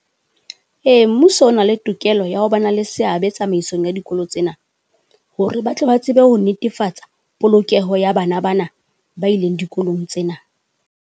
Ee mmuso o na le tokelo ya ho ba na le seabe tsamaisong ya dikolo tsena, hore ba tle ba tsebe ho netefatsa polokeho ya bana bana ba ileng dikolong tsena.